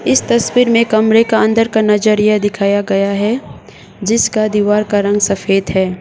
इस तस्वीर में कमरे का अंदर का नजरिया दिखाया गया है जिसका दीवार का रंग सफेद है।